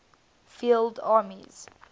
field armies